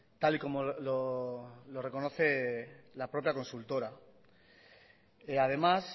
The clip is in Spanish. tal y como lo reconoce la propia consultora además